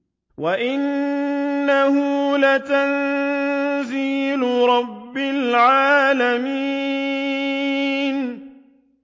وَإِنَّهُ لَتَنزِيلُ رَبِّ الْعَالَمِينَ